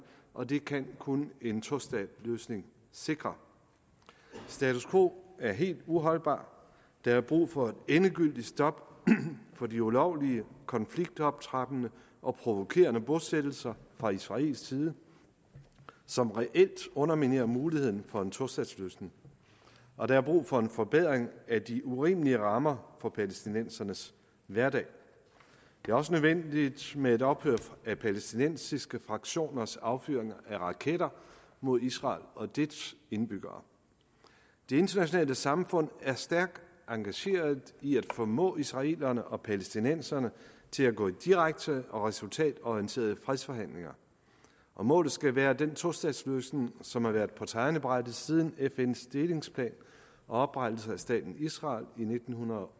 og det kan kun en tostatsløsning sikre status quo er helt uholdbart der er brug for et endegyldigt stop for de ulovlige konfliktoptrappende og provokerende bosættelser fra israelsk side som reelt underminerer muligheden for en tostatsløsning og der er brug for en forbedring af de urimelige rammer for palæstinensernes hverdag det er også nødvendigt med et ophør af palæstinensiske fraktioners affyringer af raketter mod israel og dets indbyggere det internationale samfund er stærkt engageret i at formå israelerne og palæstinenserne til at gå i direkte og resultatorienterede fredsforhandlinger og målet skal være den tostatsløsning som har været på tegnebrættet siden fns delingsplan og oprettelse af staten israel i nitten